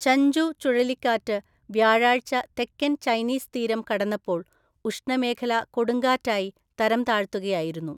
Chanchu ചുഴലിക്കാറ്റ് വ്യാഴാഴ്ച തെക്കൻ ചൈനീസ് തീരം കടന്നപ്പോൾ ഉഷ്ണമേഖലാ കൊടുങ്കാറ്റായി തരംതാഴ്ത്തുകയായിരുന്നു.